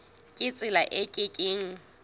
ka tsela e ke keng